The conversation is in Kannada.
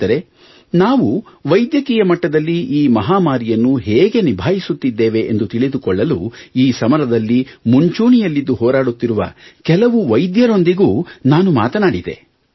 ಸ್ನೇಹಿತರೆ ನಾವು ವೈದ್ಯಕೀಯ ಮಟ್ಟದಲ್ಲಿ ಈ ಮಹಾಮಾರಿಯನ್ನು ಹೇಗೆ ನಿಭಾಯಿಸುತ್ತಿದ್ದೇವೆ ಎಂದು ತಿಳಿದುಕೊಳ್ಳಲು ಈ ಸಮರದಲ್ಲಿ ಮುಂಚೂಣಿಯಲ್ಲಿದ್ದು ಹೋರಾಡುತ್ತಿರುವ ಕೆಲವು ವೈದ್ಯರೊಂದಿಗೂ ನಾನು ಮಾತನಾಡಿದೆ